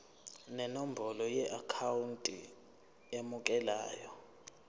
nenombolo yeakhawunti emukelayo